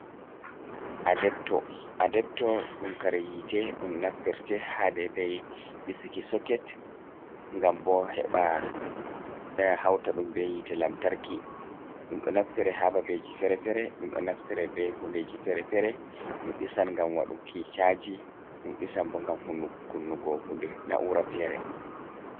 Adebto Adebto ɗum kare yite, ɗum naftirte ha dedai disuki soket gam bo heba hauta ɗum be yite lamtarki, ɗum ɗo naftire ha babeji fere-fere, ɗum ɗo naftire be hundeji fere-fere, ɗum disan gam waɗuki chaji, ɗum disan bo gam hunnugo kunnugo hude na'ura fere.